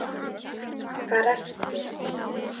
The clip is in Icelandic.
Stulla það á nýjan leik.